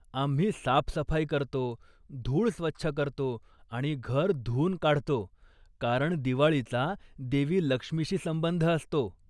आम्ही साफ सफाई करतो, धूळ स्वच्छ करतो आणि घर धुवून काढतो कारण दिवाळीचा देवी लक्ष्मीशी संबंध असतो.